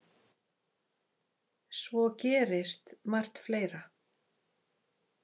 Svo gerist margt fleira.